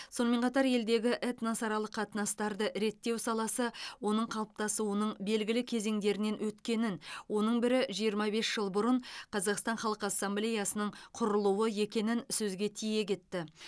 сонымен қатар елдегі этносаралық қатынастарды реттеу саласы оның қалыптасуының белгілі кезеңдерінен өткенін оның бірі жиырма бес жыл бұрын қазақстан халқы ассамблеясының құрылуы екенін сөзге тиек етті